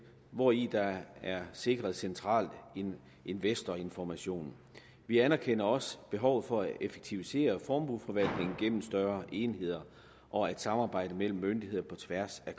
hvori der er sikret central investorinformation vi anerkender også behovet for at effektivisere formueforvaltning gennem større enheder og at samarbejdet mellem myndigheder på tværs af